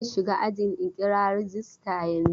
Zan shiga ajin in kira rajista yanzun.